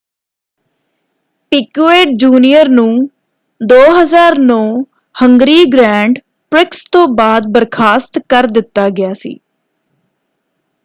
Piquet junior ਨੂੰ 2009 Hungary grand prix ਤੋਂ ਬਾਅਦ ਬਰਖਾਸਤ ਕਰ ਦਿੱਤਾ ਗਿਆ ਸੀ।